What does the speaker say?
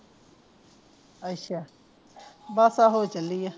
ਅੱਛਾ ਬੱਸ ਆਹੋ ਚੱਲੀ ਆ